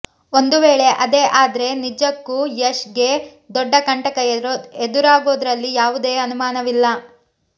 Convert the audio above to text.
ಒಂದು ವೇಳೆ ಆದೇ ಆದ್ರೆ ನಿಜಕ್ಕೂ ಯಶ್ ಗೆ ದೊಡ್ಡ ಕಂಟಕ ಎದುರಾಗೋದ್ರಲ್ಲಿ ಯಾವುದೇ ಅನುಮಾನವಿಲ್ಲ